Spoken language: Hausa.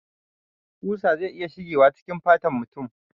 Kusa zai iya shigewa cikin fatan mutum